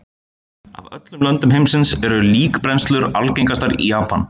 Af öllum löndum heimsins eru líkbrennslur algengastar í Japan.